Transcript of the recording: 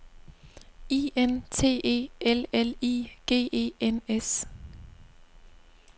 I N T E L L I G E N S